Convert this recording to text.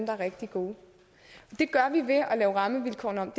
er rigtig gode det gør vi ved at lave rammevilkårene om